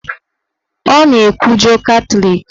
Ọ na-ekwujọ Katọlik